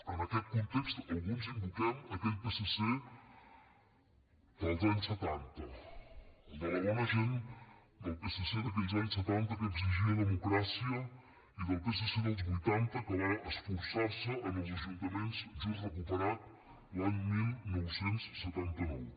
en aquest context alguns invoquem aquell psc dels anys setanta el de la bona gent del psc d’aquells anys setanta que exigia democràcia i del psc dels vuitanta que va esforçar se en els ajuntaments just recuperat l’any dinou setanta nou